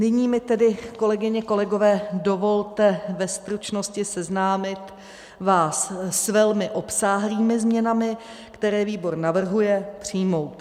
Nyní mi tedy, kolegyně, kolegové, dovolte ve stručnosti seznámit vás s velmi obsáhlými změnami, které výbor navrhuje přijmout.